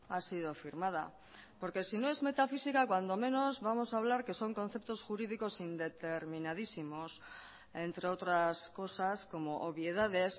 ha sido firmada porque si no es metafísica cuando menos vamos a hablar que son conceptos jurídicos indeterminadísimos entre otras cosas como obviedades